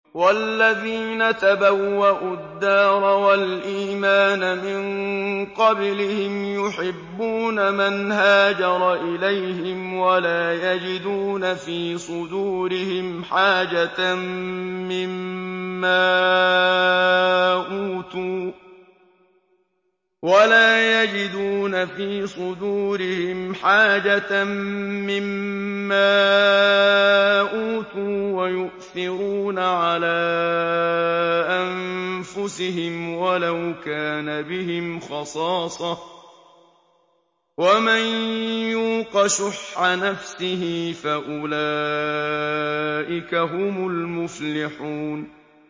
وَالَّذِينَ تَبَوَّءُوا الدَّارَ وَالْإِيمَانَ مِن قَبْلِهِمْ يُحِبُّونَ مَنْ هَاجَرَ إِلَيْهِمْ وَلَا يَجِدُونَ فِي صُدُورِهِمْ حَاجَةً مِّمَّا أُوتُوا وَيُؤْثِرُونَ عَلَىٰ أَنفُسِهِمْ وَلَوْ كَانَ بِهِمْ خَصَاصَةٌ ۚ وَمَن يُوقَ شُحَّ نَفْسِهِ فَأُولَٰئِكَ هُمُ الْمُفْلِحُونَ